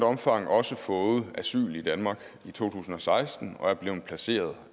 omfang også fået asyl i danmark i to tusind og seksten og er blevet placeret